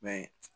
Mɛ